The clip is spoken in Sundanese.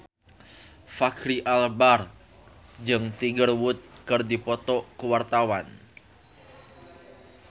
Fachri Albar jeung Tiger Wood keur dipoto ku wartawan